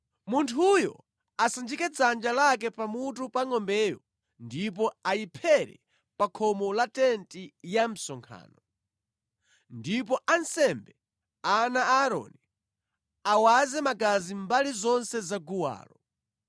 Munthuyo asanjike dzanja lake pamutu pa ngʼombeyo, ndipo ayiphere pa khomo la tenti ya msonkhano. Ndipo ansembe, ana a Aaroni, awaze magazi mbali zonse za guwalo.